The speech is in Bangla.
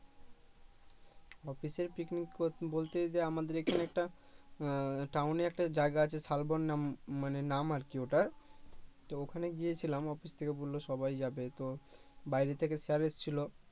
অফিসে পিকনিক বলতে যে আমাদের এখানে একটা আহ town একটা জায়গা আছে শালবন নাম মানে নাম আরকি ওটার তো ওখানে গিয়েছিলাম অফিস থেক বললো সবাই যাবে তো বাইরে থেকে স্যার এসেছিলো